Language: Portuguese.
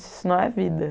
Isso não é vida.